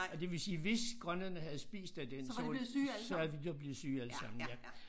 Og det vil sige hvis grønlænderne havde spist af den så så var de blevet syge alle sammen ja